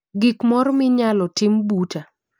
Gik morr minyalo tim buta